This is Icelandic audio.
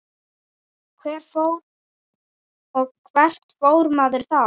Og hvert fór maður þá?